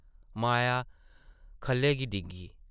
माया खʼल्लै गी डिग्गी ।